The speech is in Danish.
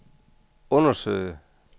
undersøge